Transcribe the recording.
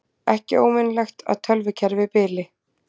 Ekki óvenjulegt að tölvukerfi bili